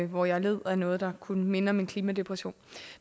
hvor jeg led af noget der kunne minde om en klimadepression